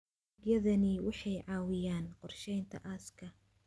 Adeegyadani waxay caawiyaan qorsheynta aaska.